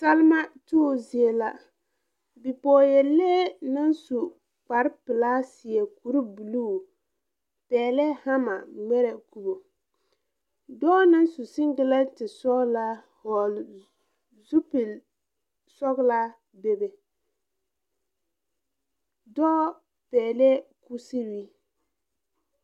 Salema tuubo zie la bipɔɔyɛlee naŋ su kparepilaa seɛ kurebluu pɛglɛɛ hama ngmɛrɛ kubo dɔɔ naŋ su sengilɛnte sɔglaa vɔɔle zupilsɔglaa bebe dɔɔ pɛɛlɛɛ kuseree.